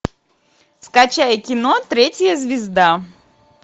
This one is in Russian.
скачай кино третья звезда